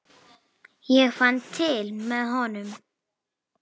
Ég fann til með honum.